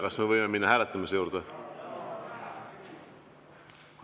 Kas me võime minna hääletamise juurde?